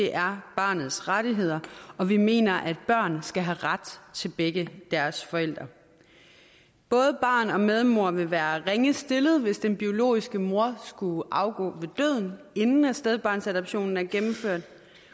er barnets rettigheder og vi mener at børn skal have ret til begge deres forældre både barn og medmor vil være ringe stillet hvis den biologiske mor skulle afgå ved døden inden stedbarnsadoptionen er gennemført